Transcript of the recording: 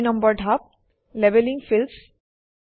২ নম্বৰ ধাপ labelling Fields